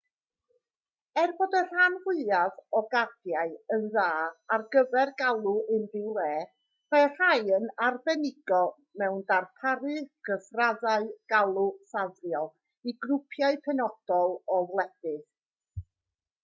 er bod y rhan fwyaf o gardiau yn dda ar gyfer galw unrhyw le mae rhai yn arbenigo mewn darparu cyfraddau galw ffafriol i grwpiau penodol o wledydd